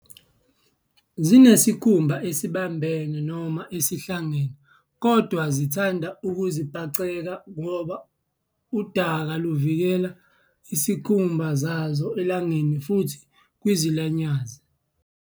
Zinesikhumba esibambene noma esihlangene kodwa zithanda ukuzibhaceka ngoba udaka luvikela izikhumba zazo elangeni futhi kwizilwanyaze.